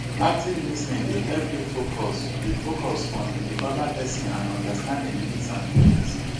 active lis ten ing dey help you focus you focus on di oda pesin and understand im needs and feelings.